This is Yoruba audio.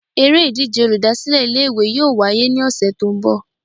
Eré ìdíje olùdásílè Ilé ìwé yóò wáyé ní òsè tó n bò